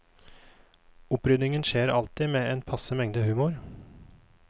Oppryddingen skjer alltid med passe mengde humor.